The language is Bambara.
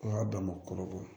O y'a dama kɔrɔbɔrɔ ye